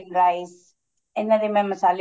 rice ਇਹਨਾ ਦੇ ਮੈਂ ਮਸਾਲੇ